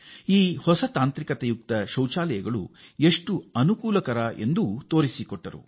ಈ ಹೊಸ ತಾಂತ್ರಿಕತೆಯ ಶೌಚಾಲಯಗಳ ಬಳಕೆ ಎಷ್ಟು ಸೂಕ್ತವಾಗಿದೆ ಎಂಬುದನ್ನು ಪ್ರದರ್ಶಿಸಲಾಯಿತು